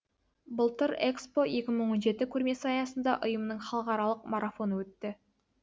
былтыр экспо екі мың он жеті көрмесі аясында ұйымның халықаралық марафоны өтті